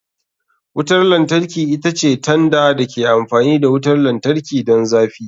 Wutar lantarki ita ce tanda da ke amfani da wutar lantarki don zafi.